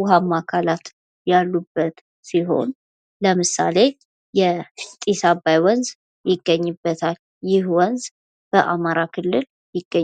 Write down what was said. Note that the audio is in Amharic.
ውሃማ አካላት ያሉበት ሲሆን ለምሳሌ የጢስ አባይ ወንዝ ይገኝበታል። ይህ ወንዝ በአማራ ክልል ይገኛል።